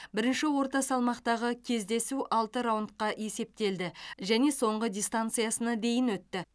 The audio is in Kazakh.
бірінші орта салмақтағы кездесу алты раундқа есептелді және соңғы дистанциясына дейін өтті